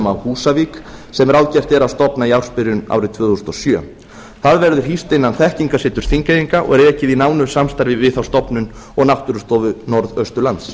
á húsavík sem ráðgert er að stofna í ársbyrjun árið tvö þúsund og sjö það verður hýst innan þekkingarseturs þingeyinga og rekið í nánu samstarfi við þá stofnun og náttúrustofu norðausturlands